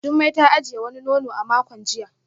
Jumai ta ajiye wani nono a makon jiya